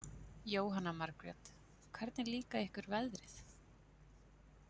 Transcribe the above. Jóhanna Margrét: Hvernig líka ykkur veðrið?